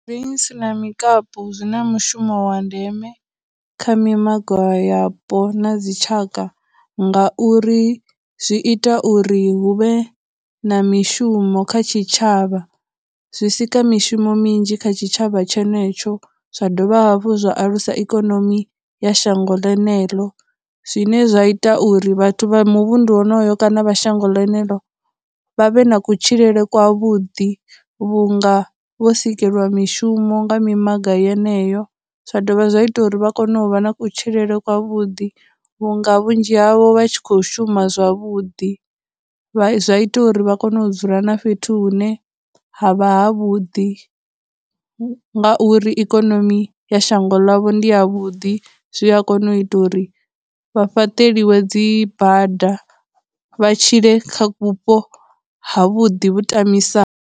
na mikapu zwi na mushumo wa ndeme kha mimaga yapo na dzitshaka ngauri zwi ita uri huvhe na mishumo kha tshitshavha, zwi sika mishumo minzhi kha tshitshavha tshenetsho, zwa dovha hafhu zwa alusa ikonomi ya shango ḽeneḽo, zwine zwa ita uri vhathu vha muvhundu wonoyo kana vha shango lenelo vha vhe na kutshilele kwa vhuḓi vhunga vho sikelwa mishumo nga mimaga yeneyo. Zwa dovha zwa ita uri vha kone u vha na kutshilele kwa vhuḓi vhu nga vhunzhi havho vha tshi khou shuma zwavhuḓi, zwa ita uri vha kone u dzula na fhethu hune ha vha ha vhuḓi nga uri ikonomi ya shango ḽavho ndi ya vhuḓi, zwi a kona u ita uri vha fhaṱeliwa dzibada, vha tshile kha vhupo ha vhuḓi vhu tamisa.